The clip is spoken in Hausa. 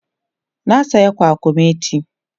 na saya kwakwamati